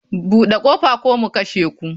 Bude kofa ko mu kashe ku.